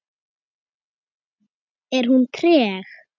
Er hún treg?